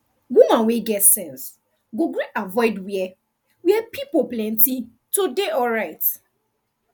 woman wey get sense go gree avoid where where pipo plenti to dey alright